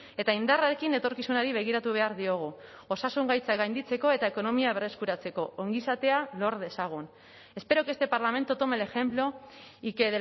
eta indarrarekin etorkizunari begiratu behar diogu osasun gaitzak gainditzeko eta ekonomia berreskuratzeko ongizatea lor dezagun espero que este parlamento tome el ejemplo y que